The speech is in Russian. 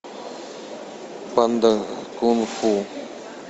панда кунг фу